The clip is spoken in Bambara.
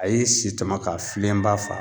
A ye si tɔmɔ ka filenba fa.